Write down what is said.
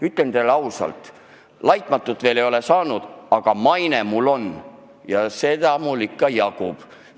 Ütlen teile ausalt, laitmatut mainet ma veel ei ole saanud, aga maine mul on, ja seda mul ikka jagub.